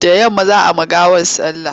Da yamma za a yi wa gawar sallah.